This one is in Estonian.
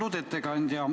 Austatud ettekandja!